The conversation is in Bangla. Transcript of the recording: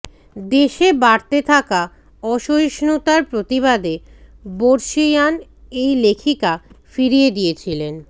দেশে বাড়তে থাকা অসহিষ্ণুতার প্রতিবাদে বর্ষিয়ান এই লেখিকা ফিরিয়ে দিয়েছিলেন